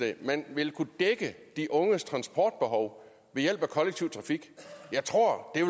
at man ville kunne dække de unges transportbehov ved hjælp af kollektiv trafik jeg tror det